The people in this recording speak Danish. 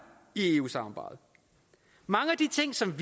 i eu samarbejdet mange af de ting som